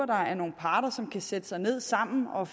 der er nogle parter som kan sætte sig ned sammen og